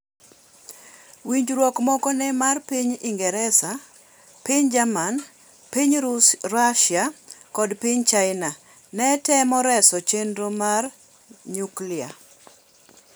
Winjruok moko ne mar piny Ingresa, piny Jerman, piny Rusia kod piny China ne temo reso chenro mar nyuklia .